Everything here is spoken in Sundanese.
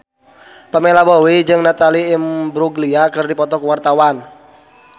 Pamela Bowie jeung Natalie Imbruglia keur dipoto ku wartawan